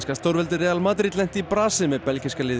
stórveldið Real Madrid lenti í brasi með belgíska liðið